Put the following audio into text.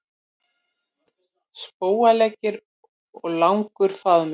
Spóaleggir og langur faðmur.